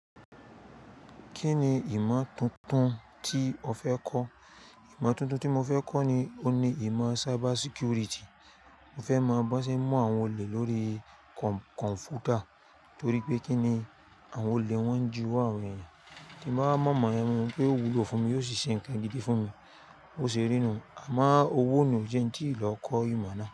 Kí ni ìmọ̀ tuntun tí o fẹ́ kọ́? Ìmọ̀ tuntun tí mo fẹ́ kọ́ ni, o ni ìmọ̀ cybersecurity. Mo fẹ́ mo bo ṣe mú àwọn olè lórí komputa torí pé kí ni àwọn olè wọ́n ju àwọn ènìyàn. Ki mo bá mọ̀ mọ̀ ẹ́, mo mọ̀ pé ó wúlò fún mi, ó sì ṣe nǹkan gidi fún mi. bÓ ṣe rí nu, àmọ́ owó ni òún jẹ́ń tí ìlọ́ kọ́ ìmọ̀ náà.